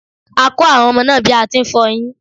A kọ àwọn ọmọ náà ní bí a ti n fọ eyín.